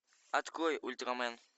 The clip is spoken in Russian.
открой ультрамен